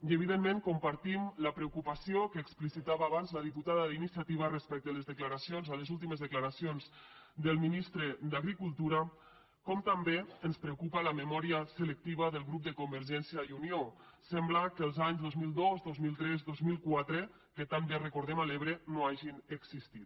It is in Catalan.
i evidentment compartim la preocupació que explicitava abans la diputada d’iniciativa respecte a les declaracions a les últimes declaracions del ministre d’agricultura com també ens preocupa la memòria selectiva del grup de convergència i unió sembla que els anys dos mil dos dos mil tres dos mil quatre que tan bé recordem a l’ebre no hagin existit